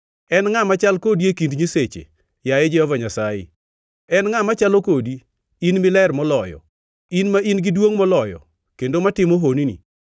“En ngʼa machal kodi e kind nyiseche, yaye Jehova Nyasaye? En ngʼa machalo kodi: in miler moloyo, in ma in-gi duongʼ moloyo kendo matimo honni?